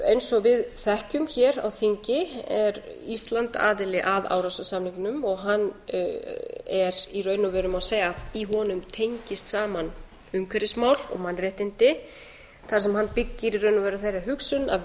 eins og við þekkjum hér á þingi er ísland aðili að árósasamningnum og hann er í raun og veru má segja að í honum tengist saman umhverfismál og mannréttindi þar sem hann byggir í raun og veru á þeirri hugsun að